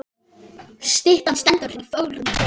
Styttan stendur í fögrum boga.